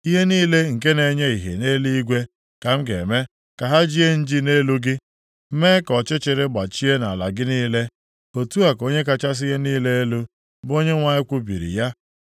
Ihe niile nke na-enye ìhè nʼeluigwe ka m ga-eme ka ha jie nji nʼelu gị, mee ka ọchịchịrị gbachie nʼala gị niile, otu a ka Onye kachasị ihe niile elu, bụ Onyenwe anyị kwubiri ya.